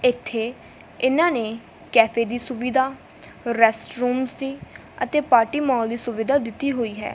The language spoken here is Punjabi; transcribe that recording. ਇੱਥੇ ਇਹਨਾਂ ਨੇ ਕੈਫੇ ਦੀ ਸੁਵਿਧਾ ਰੈਸਟ ਰੂਮਸ ਦੀ ਅਤੇ ਪਾਰਟੀ ਮਾਲ ਦੀ ਸੁਵਿਧਾ ਦਿੱਤੀ ਹੋਈ ਹੈ।